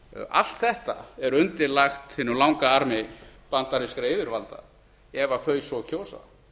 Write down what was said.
allt þetta er undirlagt hinum langa armi bandarískra yfirvalda ef þau svo kjósa